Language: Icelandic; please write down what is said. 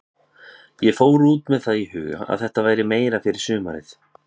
Ég fór út með það í huga að þetta væri meira fyrir sumarið.